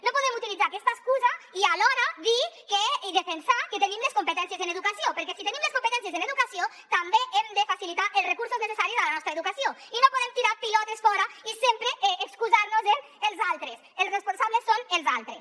no podem utilitzar aquesta excusa i alhora dir i defensar que tenim les competències en educació perquè si tenim les competències en educació també hem de facilitar els recursos necessaris a la nostra educació i no podem tirar pilotes fora i sempre excusar nos en els altres els responsables són els altres